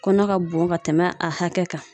Kɔnɔ ka bon ka tɛmɛ a hakɛ kan.